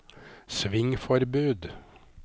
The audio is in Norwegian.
svingforbud